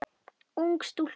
Ung stúlka.